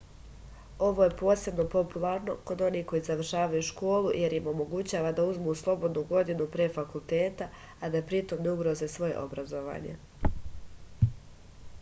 ovo je posebno popularno kod onih koji završavaju školu jer im omogućava da uzmu slobodnu godinu pre fakulteta a da pritom ne ugroze svoje obrazovanje